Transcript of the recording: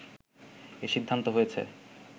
এ সিদ্ধান্ত হয়েছে